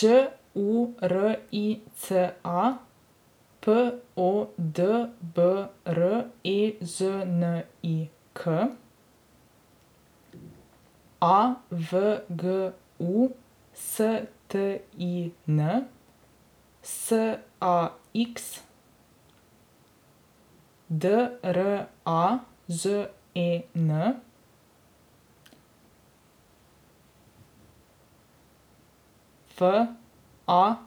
Đ U R I